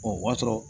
o b'a sɔrɔ